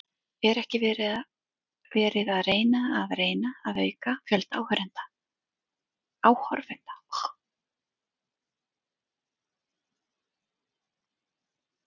Er ekki verið að reyna að reyna að auka fjölda áhorfenda?